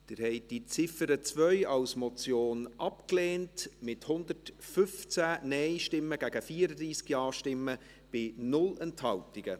Sie haben die Ziffer 2 als Motion abgelehnt, mit 115 Nein- gegen 34 Ja-Stimmen bei 0 Enthaltungen.